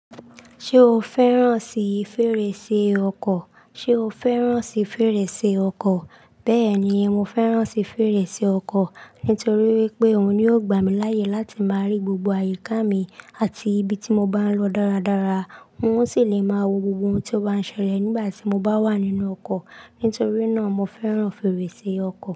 Ṣé o fẹ́ràn sì fèrèsé ọkọ̀? Ṣé o fẹ́ràn sì fèrèsé ọkọ̀? Bẹ́ẹ̀ ni, mo fẹ́ràn sì fèrèsé ọkọ̀ nítorí wípé òhun ni ó gbà mí láàyè láti máa rí gbogbo àyíká mi àti ibi tí mo bá ń lọ dáradára. N ó sì lè máa wo gbogbo ohun tí ó bá ń ṣẹlẹ̀ nígbà tí mo bá wà nínú ọkọ̀. Nítorí náà, mo fẹ́ràn fèrèsé ọkọ̀